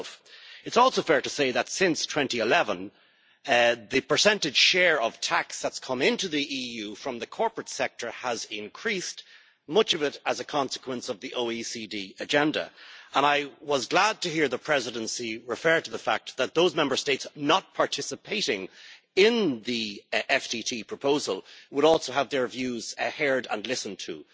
It is also fair to say that since 2011 the percentage share of tax that has come into the EU from the corporate sector has increased much of it as a consequence of the OECD agenda. I was glad to hear the Presidency refer to the fact that those Member States not participating in the Financial Transaction Tax proposal would also have their views heard and listened to.